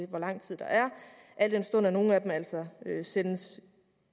hvor lang tid der er al den stund at nogle af dem altså sendes